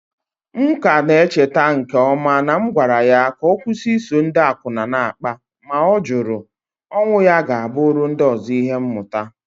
M ka na-echeta nke ọma na m gwara ya ka ọ kwụsị iso ndị akwụna na-akpa, ma ọ jụrụ. Onwụ ya ga-abụrụ ndị ọzọ ihe mmụta.